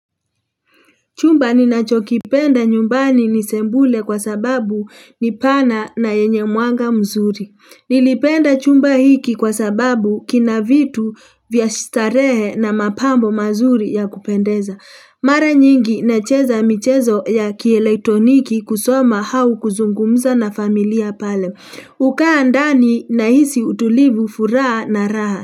Chumba nina chokipenda nyumbani nisebule kwa sababu nipana na yenye mwanga mzuri. Nilipenda chumba hiki kwa sababu kina vitu vya starehe na mapambo mazuri ya kupendeza. Mara nyingi na cheza michezo ya kielekroniki kusoma au kuzungumza na familia pale. Kukaa ndani ninahisi utulivu furahaa na raha.